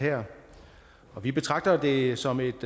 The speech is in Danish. her vi betragter det som et